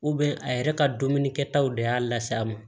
a yɛrɛ ka dumuni kɛtaw de y'a lase a ma